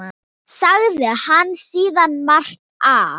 Sagði hann síðan margt af